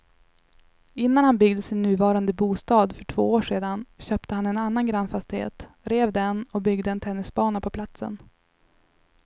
Innan han byggde sin nuvarande bostad för två år sedan köpte han en annan grannfastighet, rev den och byggde en tennisbana på platsen.